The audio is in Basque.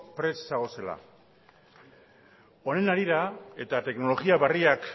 prest zagozela honen harira eta teknologia barriak